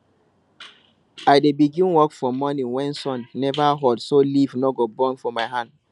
i dey begin work for morning when sun never hot so leaf no go burn for my hand